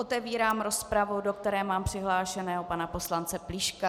Otevírám rozpravu, do kterého mám přihlášeného pana Poslance Plíška.